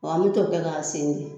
Wa an me t'o kɛ k'a sen